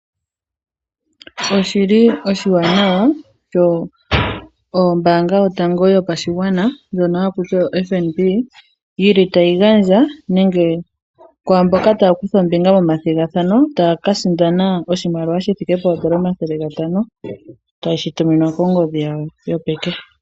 Oshili oshiwanawana sho ombaanga yotango yopashigwana ndjono haku tiwa o Fnb yili tayi gandja kwaamboka taya kutha ombinga momathigathano taya ka sindana oshimaliwa shi thike poondola omathele gatano taye shi tuminwa kongodhi yawo yopeke.